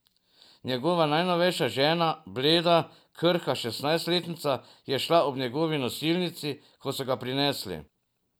Njegova najnovejša žena, bleda, krhka šestnajstletnica, je šla ob njegovi nosilnici, ko so ga prinesli.